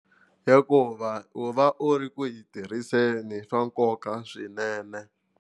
Hikuva u va u ri ku yi tirhiseni swa nkoka swinene.